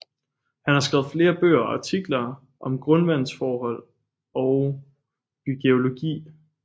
Han har skrevet flere bøger og artikler om grundvandsforhold og bygeologi